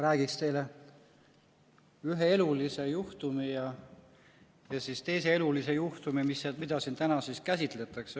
Räägin teile ühe elulise juhtumi ja siis teise elulise juhtumi, mida siin täna käsitletakse.